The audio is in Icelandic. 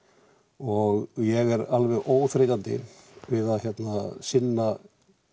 og ég er alveg óþreytandi við að sinna